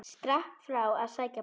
Skrapp frá að sækja bor.